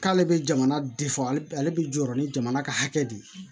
K'ale bɛ jamana de fɔ ale bɛ jɔyɔrɔ ni jamana ka hakɛ de ye